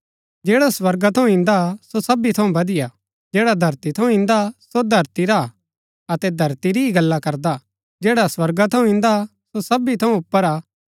जैडा स्वर्गा थऊँ इन्दा सो सबी थऊँ बदिआ हा जैडा धरती थऊँ ईन्दा सो धरती रा हा अतै धरती ही री गल्ला करदा जैडा स्वर्गा थऊँ ईन्दा सो सबी थऊँ ऊपर हा